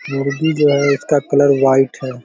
मुर्गी जो है इसका कलर व्हाइट है।